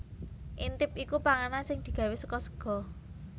Intip iku panganan sing digawé saka sega